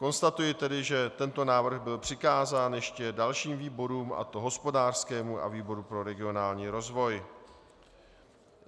Konstatuji tedy, že tento návrh byl přikázán ještě dalším výborům, a to hospodářskému a výboru pro regionální rozvoj.